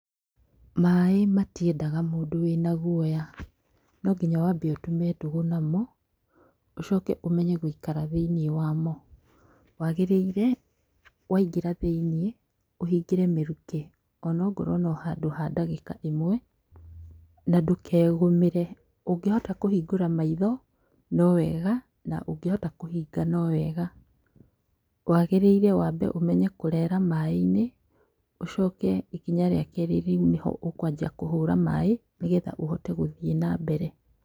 Maaĩ matiendaga mũndũ wĩna gũoya. No nginya wambe ũtume ndũgũ namo, ũcoke umenye gwĩikara thĩiniĩ wamo. Wagĩrĩire waingĩra thĩiniĩ, ũhingĩre mĩrukĩ, o na ongorwo no handu ha ndagĩka ĩmwe, na ndũkegũmĩre. Ũngĩhota kũhingũra maitho no wega, na ũngĩhota kũhinga no wega. Waagĩrĩire wambe ũmenya kũrera maaĩ-inĩ, ũcoke ikinya rĩa kerĩ rĩu nĩ ho ũkũanjia kũhũra maaĩ nĩgetha ũhote gũthiĩ nambere.